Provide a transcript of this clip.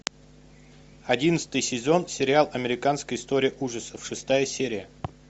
одиннадцатый сезон сериал американская история ужасов шестая серия